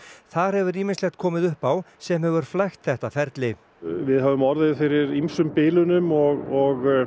þar hefur ýmislegt komið upp á sem hefur flækt þetta ferli við höfum orðið fyrir ýmsum bilunum og